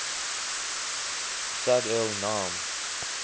sag el naam